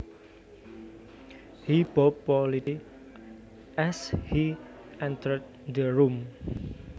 He bowed politely as he entered the room